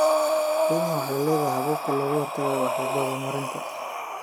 Kenya waxay leedahay habab looga hortagayo wax isdaba marinta.